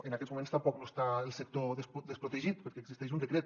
en aquests moments tampoc no està el sector desprotegit perquè existeix un decret